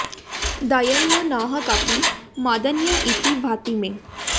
दयनीयो न हि क्वापि मदन्य इति भाति मे